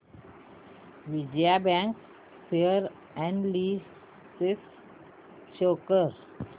Vijaya bank share analysis show कर